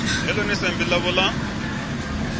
vhe ḽone sambi ḽavho ḽa